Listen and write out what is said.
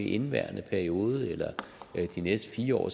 i indeværende periode eller de næste fire år